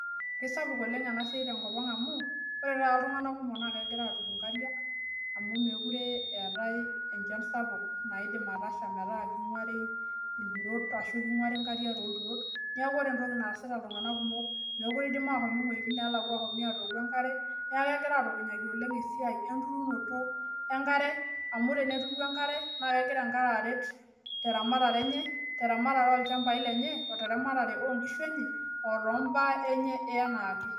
kisapuk enasiai oleng' tenkopang' amu ore ena siai naa ore apa iltung'anak kumok naa kegira aturu inkariak tenemeetae enchan sapuk naidim atasha kinguari inkariak too iturot neeku ore entoki naasita iltung'anak kumok naa mookire idim ashom iwejitin neelakua atooku enkare , neeku kegira atukunyaki oleng esiai enturunoto enkare amu, teneturu enkare naa kegira enkare aret olchambai lenye oo teramatere oo inkishu enye.